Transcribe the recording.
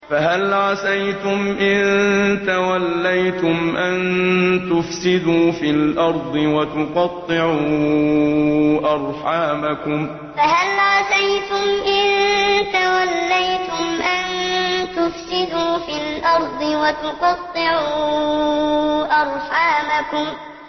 فَهَلْ عَسَيْتُمْ إِن تَوَلَّيْتُمْ أَن تُفْسِدُوا فِي الْأَرْضِ وَتُقَطِّعُوا أَرْحَامَكُمْ فَهَلْ عَسَيْتُمْ إِن تَوَلَّيْتُمْ أَن تُفْسِدُوا فِي الْأَرْضِ وَتُقَطِّعُوا أَرْحَامَكُمْ